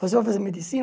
Você vai fazer